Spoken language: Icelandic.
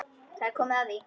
Það er komið að því.